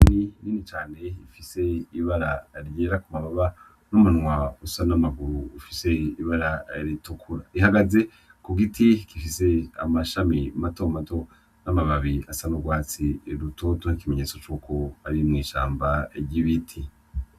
Inyoni nini cane ifise ibara ryera ku mababa n'umunwa usa n'amaguru ufise ibara ritukura, ihagaze ku giti gifise amashami mato mato n'amababi asa n'urwatsi rutoto nk'ikimenyetso cuko ari mw'ishamba ry'ibiti.